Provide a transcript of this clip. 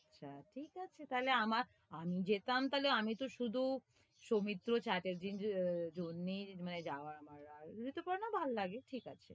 তা ঠিক আছে তাহলে আমার, আমি যেতাম, তাহলে আমি তহ শুধু সৌমিত্র চ্যাটার্যির জ~ এর জন্যেই, মানে যাওয়া আমার। ঋতুপর্ণা ভাল লাগে, ঠিক আছে,